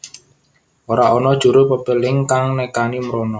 Ora ana juru pepéling kang nekani mrono